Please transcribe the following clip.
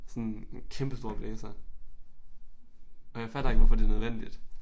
Sådan kæmpestor blæser og jeg fatter ikke hvorfor det nødvendigt